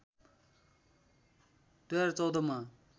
२०१४ मा